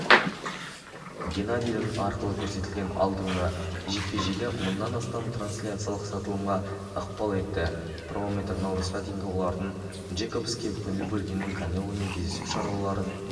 геннадийдің арқылы көрсетілген алдыңғы жекпе-жегі мыңнан астам трансляциялық сатылымға ықпал етті промоутер наурызға дейін олардың джейкобске көңіл бөлгенін канеломен кездесу шаруаларын